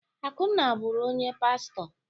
Akunna bụrụ onye pastọ.